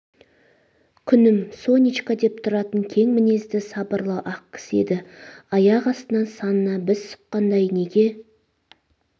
күнім сонечка деп тұратын кең мінезді сабырлы-ақ кісі еді аяқ астынан санына біз сұққандай неге